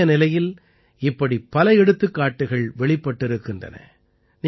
இன்றைய நிலையில் இப்படி பல எடுத்துக்காட்டுக்கள் வெளிப்பட்டிருக்கின்றன